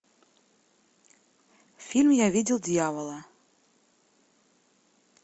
фильм я видел дьявола